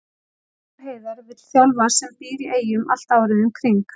Gunnar Heiðar vill þjálfara sem býr í Eyjum allt árið um kring.